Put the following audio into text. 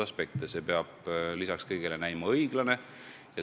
Regulatsioon peab olema ja ka näima õiglane.